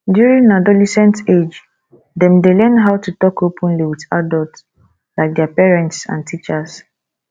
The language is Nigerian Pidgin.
during adolesent age dem dey learn how to talk openly with adult like their parents and teachers